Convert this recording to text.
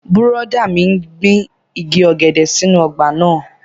Bùrọ̀dá mi n gbin igi ọ̀gẹ̀dẹ̀ sínú ọgbà náà